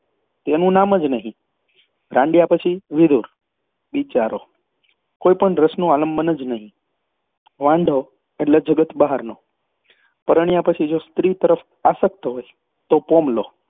તેનું નામ જ નહીં રાંડ્યા પછી વિધુર. બિચારો કોઈ પણ રસનું આલંબન નહીં વાંઢો એટલે જગત બહારનો. પરણ્યા પછી જો સ્ત્રી તરફ આસક્ત હોય તો પોમલો